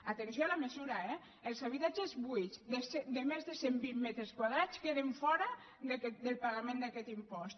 atenció a la mesura eh els habitatges buits de més de cent vint metres quadrats queden fora del pagament d’aquest impost